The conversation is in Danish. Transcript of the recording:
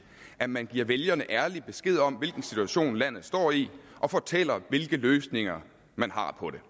at man giver vælgerne ærlig besked om hvilken situation landet står i og fortæller hvilke løsninger man har på det